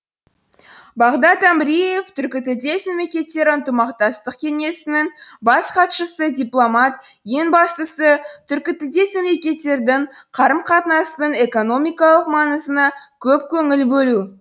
бағдат әміреев түркітілдес мемлекеттері ынтымақтастық кеңесінің бас хатшысы дипломат ең бастысы түркітілдес мемлекеттердің қарым қатынасының экономикалық маңызына көп көңіл бөлу